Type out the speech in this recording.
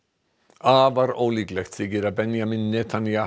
afar ólíklegt þykir að Benjamín Netanyahu